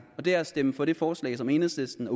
og det er at stemme for det forslag som enhedslisten og